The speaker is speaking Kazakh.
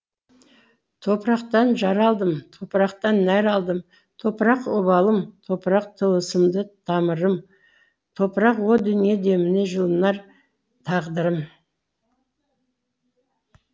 топырақтан жаралдым топырақтан нәр алдым топырақ обалым топырақ тылсымды тамырым топырақ о дүние демінде жылынар тағдырым